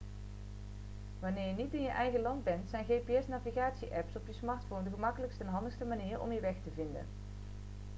wanneer je niet in je eigen land bent zijn gps-navigatie-apps op je smartphone de gemakkelijkste en handigste manier om je weg te vinden